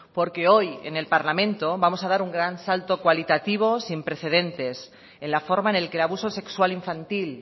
porque hoy en el parlamento vamos a dar un gran salto cualitativo sin precedentes en la forma en el que el abuso sexual infantil